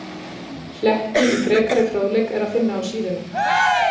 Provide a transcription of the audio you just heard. Hlekki í frekari fróðleik er að finna á síðunni.